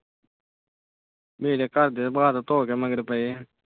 ਮੇਰੇ ਘਰਦੇ ਤਾਂ ਹੱਥ ਧੋਕੇ ਮਗਰ ਪਏ ਆ।